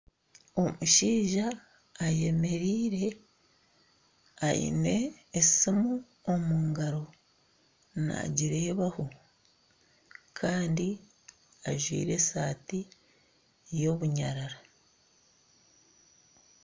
Omushaija eyemeriire aine esiimu omu ngaaro naagireebaho kandi ajwire eshati y'obunyarara